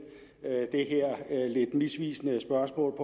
det her lidt misvisende spørgsmål